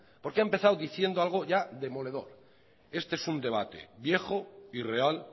porque ha empezado diciendo algo ya demoledor este es un debate viejo irreal